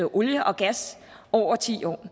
olie og gas over ti år